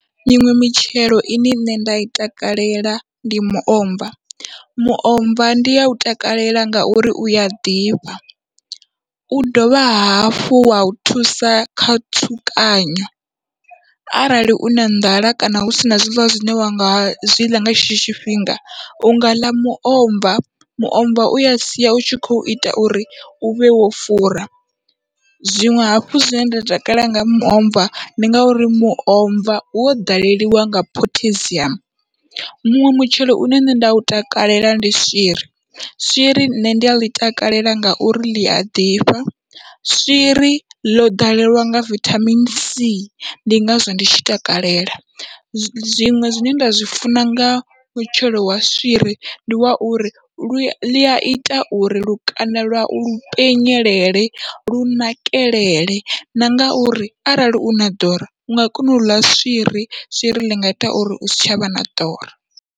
Miṅwe mitshelo ine nṋe nda i takalela ndi miomva, muomva ndi yau takalela ngauri uya ḓifha u dovha hafhu wau thusa kha tsukanyo arali u na nḓala kana husina zwiḽiwa zwine wa nga zwi ḽa nga tshetsho tshifhinga unga ḽa muomva, muomva uya sia utshi kho ita uri uvhe wo fura zwiṅwe hafhu zwine nda takala nga muomva ndi ngauri muomva wo ḓaleliwa nga pottasium. Muṅwe mutshelo une nṋe nda u takalela ndi swiri, swiri nṋe ndi aḽi takalela ngauri ḽia ḓifha swiri ḽo ḓalelwa nga vithamini c, ndi ngazwo ndi tshi takalela zwiṅwe zwine nda zwi funa nga mutshelo wa swiri ndi wa uri lua ḽiaita uri lukanda lwau lu penyelele lu nakelele na ngauri arali u na ḓora unga kona uḽa swiri swiri ḽinga ita uri usi tshavha na ḓora.